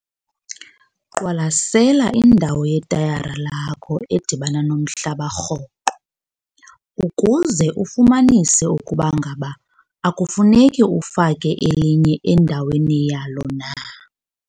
Qwalasela indawo yetayara lakho edibana nomhlaba rhoqo ukuze ufumanise ukuba ngaba akufuneki ufake elinye endaweni yalo na